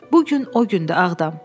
Bu gün o gündü Ağdam.